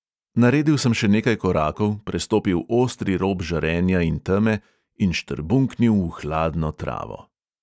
Naredil sem še nekaj korakov, prestopil ostri rob žarenja in teme in štrbunknil v hladno travo.